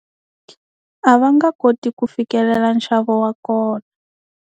A va nga koti ku fikelela nxavo wa kona.